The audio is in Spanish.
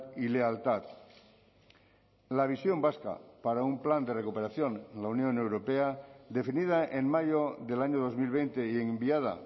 y lealtad la visión vasca para un plan de recuperación en la unión europea definida en mayo del año dos mil veinte y enviada